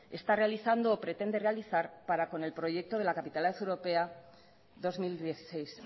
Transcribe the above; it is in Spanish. está realizando o pretende realizar para con el proyecto de la capitalidad europea dos mil dieciséis